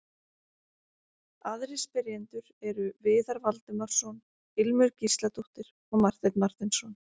Aðrir spyrjendur eru: Viðar Valdimarsson, Ilmur Gísladóttir og Marteinn Marteinsson.